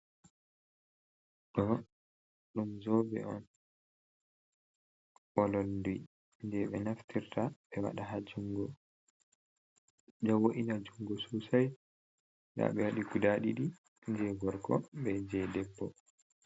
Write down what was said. Ɗo dum zobe on ololdi, jei ɓe naftirta ɓe wada ha jungo, don woena jungo sosai, ɗa ɓe wadi guda didi, jei gorko be jei debbo.